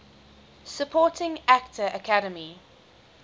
supporting actor academy